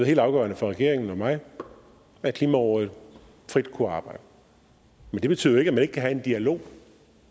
helt afgørende for regeringen og mig at klimarådet frit kunne arbejde men det betyder jo ikke kan have en dialog